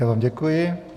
Já vám děkuji.